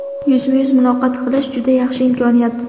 Yuzma-yuz muloqot qilish juda yaxshi imkoniyat.